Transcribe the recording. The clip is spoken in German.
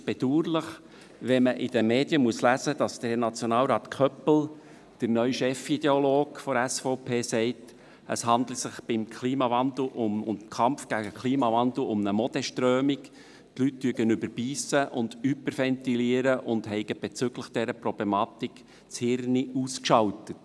Es ist bedauerlich, wenn man in den Medien lesen muss, dass der Herr Nationalrat Köppel, der neue Chefideologe der SVP, sagt, es handle sich beim Kampf gegen den Klimawandel um eine Modeströmung, die Leute würden überbeissen und hyperventilieren und hätten bezüglich dieser Problematik das Hirn ausgeschaltet.